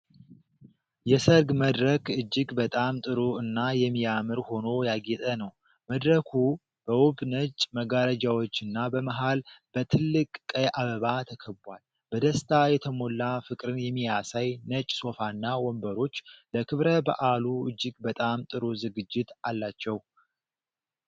የሰርግ መድረክ እጅግ በጣም ጥሩ እና የሚያምር ሆኖ ያጌጠ ነው። መድረኩ በውብ ነጭ መጋረጃዎችና በመሀል በትልቅ ቀይ አበባ ተከቧል። በደስታ የተሞላ ፍቅርን የሚያሳይ ነጭ ሶፋና ወንበሮች ለክብረ በዓሉ እጅግ በጣም ጥሩ ዝግጅት አላቸው።